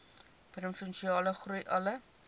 provinsiale groei alle